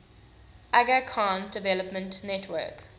aga khan development network